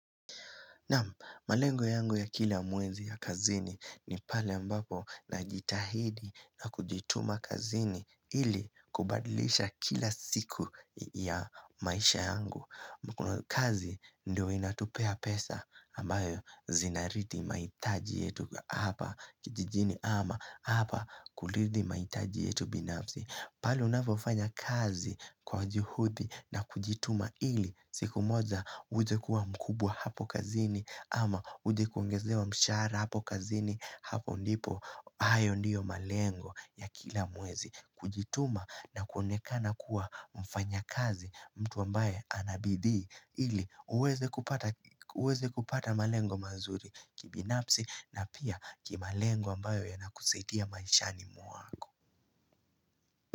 Nam, malengo yangu ya kila mwezi ya kazini ni pale mbapo na jitahidi na kujituma kazini ili kubadilisha kila siku ya maisha yangu. Mkuno kazi ndio inatupea pesa ambayo zinaridi maitaji yetu hapa kijijini ama hapa kulidi maitaji yetu binafzi. Pahali unafofanya kazi kwa juhuthi na kujituma ili siku moja uje kuwa mkubwa hapo kazini ama uje kuongeze wa mshahara hapo kazini hapo ndipo ayo ndiyo malengo ya kila mwezi. Kujituma na kuonekana kuwa mfanya kazi mtu ambaye anabidii ili uweze kupata malengo mazuri kibinapsi na pia kimalengo ambayo yanakusaitia maishani muwako.